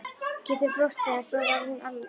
Gerður brosti en svo varð hún alvarleg.